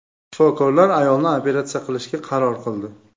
Shifokorlar ayolni operatsiya qilishga qaror qildi.